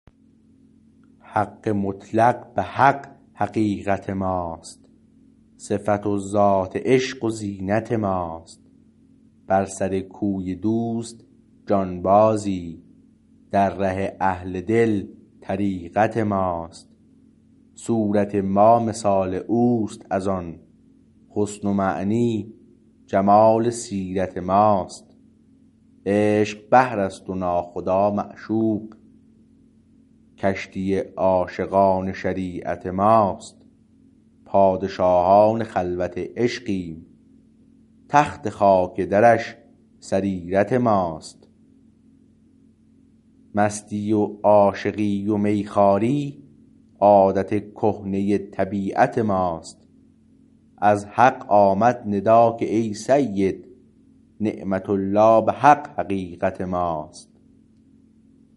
حق مطلق به حق حقیقت ماست صفت و ذات عشق و زینت ماست بر سر کوی دوست جانبازی در ره اهل دل طریقت ماست صورت ما مثال اوست از آن حسن و معنی جمال سیرت ماست عشق بحر است و ناخدا معشوق کشتی عاشقان شریعت ماست پادشاهان خلوت عشقیم تخت خاک درش سریرت ماست مستی و عاشقی و میخواری عادت کهنه طبیعت ماست از حق آمد ندا که ای سید نعمت الله به حق حقیقت ماست